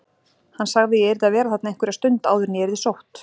Hann sagði að ég yrði að vera þarna einhverja stund áður en ég yrði sótt.